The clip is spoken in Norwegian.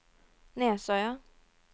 Nesøya